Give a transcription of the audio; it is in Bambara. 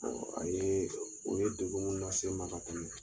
Ɔ a ye, u ye degun munnu lase i ma ka tɛmɛ